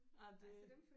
Nej det